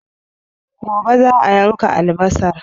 Gobe za'a yanka albasar